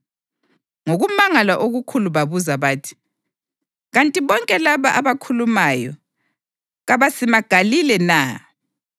Ngokumangala okukhulu babuza bathi, “Kanti bonke laba abakhulumayo kabasimaGalile na?